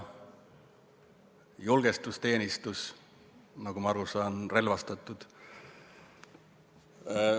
Julgestusteenistus, nagu ma aru saan, on relvastatud.